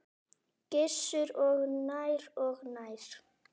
Gissur: Og nær og nær?